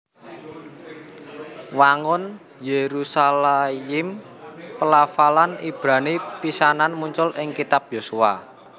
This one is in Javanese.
Wangun Yerushalayim pelafalan Ibrani pisanan muncul ing kitab Yosua